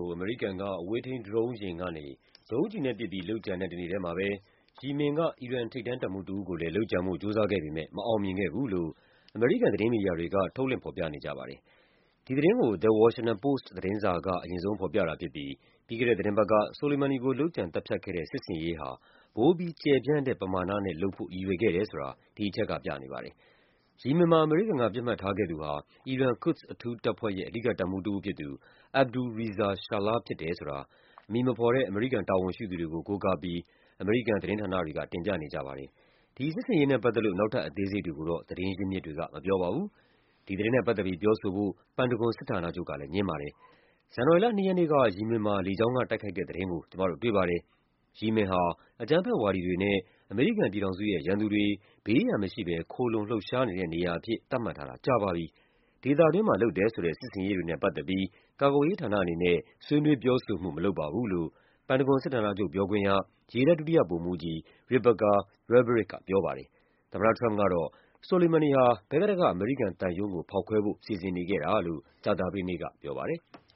ို အမေရိကန်က အဝေးထိန်းဒရုံးယာဉ်ကနေ ဒုံးကျည်နဲ့ပစ်ပြီး လုပ်ကြတဲ့တနေ့ထဲမှာပဲ ယီမင်က အီရန် ထိပ်တန်းတပ်မှူးတဦးကိုလည်း လုပ်ကြံဖို့ကြိုးစားခဲ့ပေမယ့် မအောင်မြင်ခဲ့ဘူးလို့ အမေရိကန်သတင်းမီဒီယာတွေ ထုတ်လွှင့် ဖော်ပြနေကြပါတယ်။ ဒီသတင်းကို The Washington Post သတင်းစာက အရင်ဆုံးဖော်ပြတာဖြစ်ပြီး ပြီးခဲ့တဲ့သီတင်းပတ်က Soleimani ကို လုပ်ကြံ သတ်ဖြတ်ခဲ့တဲ့ စစ်ဆင်ရေးဟာ ပိုပြီးကျယ်ပြန့်တဲပမာဏနဲ့လုပ်ဖို့ ရည်ရွယ်ခဲ့တယ်ဆိုတာ ဒီအချက်ကပြနေပါတယ်။ ယီမင်မှာ အမေရိကန်က ပစ်မှတ်ထားခဲ့သူဟာ အီရန် Quds အထူးတပ်ဖွဲ့ရဲ့ အဓိကတပ်မှူးတဦးဖြစ်သူ Abdul Reza Shahlai ဖြစ်တယ်ဆိုတာ အမည်မဖော်တဲ့ အမေရိကန်တာဝန်ရှိသူတွေကို ကိုးကားပြီး အမေရိကန် သတင်းဌာနတွေက တင်ပြနေကြပါ တယ်။ ဒီစစ်ဆင်ရေးနဲ့ပတ်သက်လို့ နောက်ထပ် အသေးစိတ်တွေကိုတော့ သတင်းရင်းမြစ်တွေက မပြောပါဘူး။ ဒီသတင်းနဲ့ပတ်သက်ပြီး ပြောဆိုဖို့ ပန်တဂွန်စစ်ဌာနချုပ်ကလည်း ငြင်းပါတယ်။ “ဇန်နဝါရီလ ၂ ရက်နေ့က ယီမင်မှာ လေကြောင်းကတိုက်ခိုက်တဲ့ သတင်းကို ကျမတို့တွေ့ပါတယ်၊ ယီမင်ဟာ အကြမ်းဖက်ဝါဒီ တွေနဲ့ အမေရိကန်ပြည်ထောင်စုရဲ့ ရန်သူတွေ ဘေးရန်မရှိဘဲ ခိုလှုံလှုပ်ရှားနေတဲ့နေရာအဖြစ် သတ်မှတ်ထားတာ ကြာပါပြီ၊ ဒေသ တွင်းမှာလုပ်တယ်ဆိုတဲ့ စစ်ဆင်ရေးတွေနဲ့ပတ်သက်ပြီး ကာကွယ်ရေးဌာနအနေနဲ့ ဆွေးနွေးပြောဆိုမှု မလုပ်ပါဘူး” လို့ ပန်တဂွန် စစ်ဌာနချုပ်ပြောခွင့်ရ ရေတပ် ဒုတိယဗိုလ်မှူးကြီး Rebecca Rebarich က ပြောပါတယ်။ သမ္မတထရမ့်ပ်ကတော့ Soleimani ဟာ ဘဂ္ဂဒက်က အမေရိကန်သံရုံးကို ဖောက်ခွဲဖို့ စီစဉ်နေတာလို့ ကြသပတေးနေ့က ပြောပါတယ်။